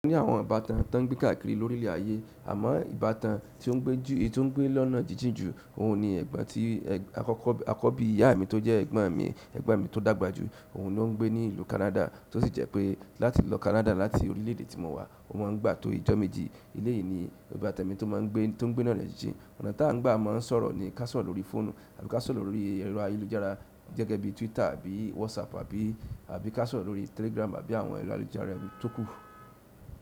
Mo ní àwọn ìbátan tán gbígbà kiri lórí ilẹ̀ ayé àmọ́ ìbátan èyí tí ó ń gbé lọ́nà jíjìn jù, òhun ni ẹ̀gbọ́n ti akọ́kọ́, akọbi ìyá mi tó jẹ́ ẹ̀gbọ́n mi, to dàgbà jù, òhun ló ń gbé ní ìlú Canada, tó sì jẹ́ pé láti lọ Canada láti orílẹ̀ èdè tí mo wà, ó máa ń gbà tó ìjọ́ méjì. Elé yìí ni ìbátan mi tó máa ń gbé, tó ń gbé lọ́nà jíjìn. Ọ̀nà tó à ń gbà máa ń sọ̀rọ̀ ni ká sọ̀rọ̀ lórí fóònù tàbí ká sọ̀rọ̀ lórí ẹ̀rọ ayélujára gẹ́gẹ́ bí Twitter àbí WhatsApp àbí, àbí ká sọ̀rọ̀ lórí Telegram àbí àwọn ẹ̀rọ ayélujára tóku.